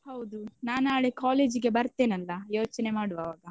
ಹೌದು ನಾನ್ ನಾಳೆ college ಗೆ ಬರ್ತೇನಲ್ಲ ಯೋಚ್ನೆ ಮಾಡ್ವ ಆವಾಗ.